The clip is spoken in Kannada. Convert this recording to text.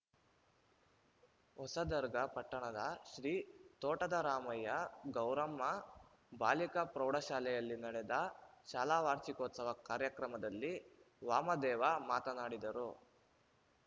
ಹೊಸದರ್ಗ ಪಟ್ಟಣದ ಶ್ರೀ ತೋಟದರಾಮಯ್ಯ ಗೌರಮ್ಮ ಬಾಲಿಕಾ ಪ್ರೌಢಶಾಲೆಯಲ್ಲಿ ನಡೆದ ಶಾಲಾ ವಾರ್ಷಿಕೋತ್ಸವ ಕಾರ್ಯಕ್ರಮದಲ್ಲಿ ವಾಮದೇವ ಮಾತನಾಡಿದರು